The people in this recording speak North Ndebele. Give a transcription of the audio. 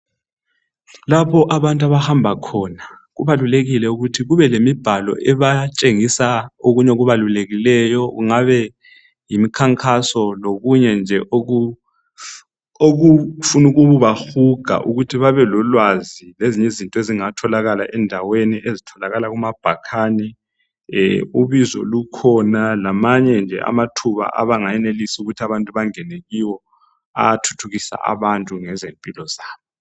lapho abantu abahamba khona kubalulekile ukuthi kube lemibhalo ebatshengisa okunye okubalulekileyo kungabe yimikhankaso lokunye nje okufuna ukubahuga ukuthi babelolwazi lezinye izinto ezingatholakala endaweni ezitholakala kumabhakane ubizo lukhona lama nje amathuba abangenelisa ukuthi abantu bangen kiwo athuthukisa abantu ngezempilo zabo